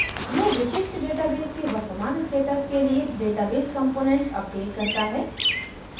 यह विशिष्ट database के वर्तमान status के लिए database component अपडेट करता है